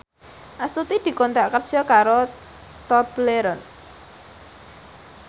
Astuti dikontrak kerja karo Tobleron